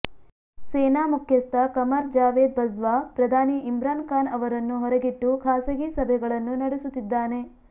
ಸೇನಾ ಮುಖ್ಯಸ್ಥ ಕಮರ್ ಜಾವೇದ್ ಬಜ್ವಾ ಪ್ರಧಾನಿ ಇಮ್ರಾನ್ ಖಾನ್ ಅವರನ್ನು ಹೊರಗಿಟ್ಟು ಖಾಸಗಿ ಸಭೆಗಳನ್ನು ನಡುಸುತ್ತಿದ್ದಾನೆ